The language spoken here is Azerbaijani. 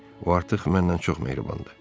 O artıq məndən çox mehribandır.